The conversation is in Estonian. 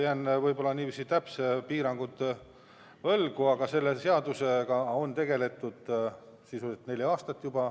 Jään võib-olla täpsed põhjused võlgu, aga selle seadusega on tegeletud sisuliselt juba neli aastat.